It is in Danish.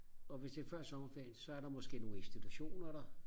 og hvis det er før sommerferien så er der måske nogle institutioner der